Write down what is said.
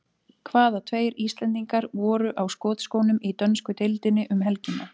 Hvaða tveir Íslendingar voru á skotskónum í dönsku deildinni um helgina?